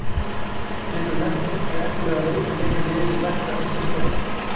Geturðu nefnt einhverja efnilega leikmenn í ykkar liði sem vert er að fylgjast með?